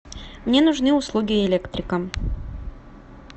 мне нужны услуги электрика